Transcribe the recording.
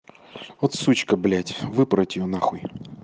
вот сучка блять выпороть её на хуй